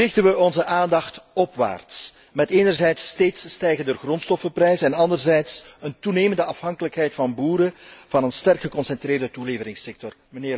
Nu richten we onze aandacht opwaarts, met enerzijds steeds stijgende grondstoffenprijzen en anderzijds een toenemende afhankelijkheid van boeren van een sterk geconcentreerde toeleveringssector.